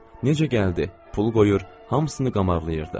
Necə gəldi, pul qoyur, hamısını qamarqlayırdı.